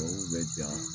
Tubabuw bɛ ja